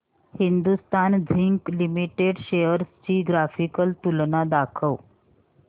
Hindustan zinc limited shares ची graphical तुलना दाखव